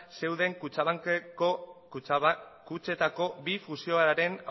zeuden kutxetako bi fusioaren